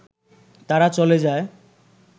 তারা চলে যায়